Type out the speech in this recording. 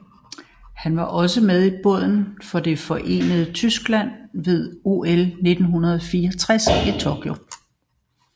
Han var også med i båden for det forenede Tyskland ved OL 1964 i Tokyo